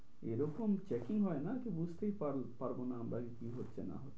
এরকম checking হয় না যে বুঝতেই পারবো না আমরা কি হচ্ছে না হচ্ছে।